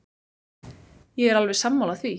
Ég er alveg sammála því.